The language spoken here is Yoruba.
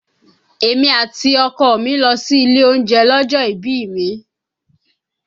Èmi àti ọkọ ọ̀ mi lọ sí ilé oúnjẹ lọ́jọ́ ìbí mi